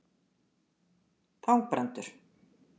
Þangbrandur